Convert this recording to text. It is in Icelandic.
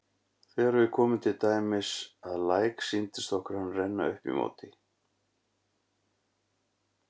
Þegar við komum til dæmis að læk sýndist okkur hann renna upp í móti.